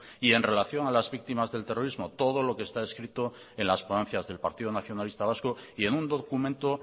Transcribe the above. y en relación a las víctimas del terrorismo todo lo que está escrito en las ponencias del partido nacionalista vasco y en un documento